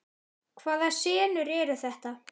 Hvaða senur eru þetta?